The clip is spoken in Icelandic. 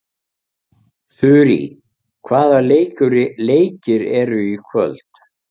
Þurý, hvaða leikir eru í kvöld?